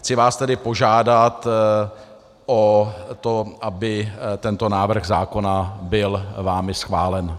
Chci vás tedy požádat o to, aby tento návrh zákona byl vámi schválen.